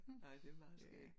Nej det meget skægt